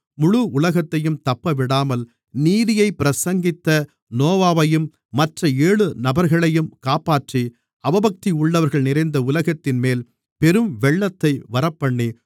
முழு உலகத்தையும் தப்பவிடாமல் நீதியைப் பிரசங்கித்த நோவாவையும் மற்ற ஏழு நபர்களையும் காப்பாற்றி அவபக்தியுள்ளவர்கள் நிறைந்த உலகத்தின்மேல் பெரும்வெள்ளத்தை வரப்பண்ணி